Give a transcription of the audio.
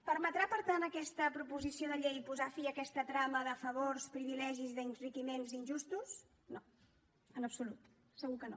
permetrà per tant aquesta proposició de llei posar fi a aquesta trama de favors privilegis d’enriquiments injustos no en absolut segur que no